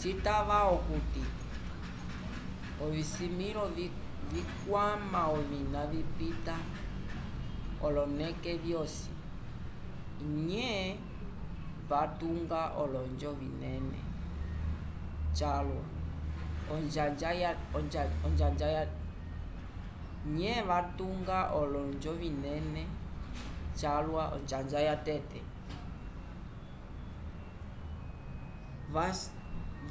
citava okuti ovisimĩlo vikwama ovina vipitapita oloneke vyosi nye vatunga olonjo vinene calwa onjanja yatete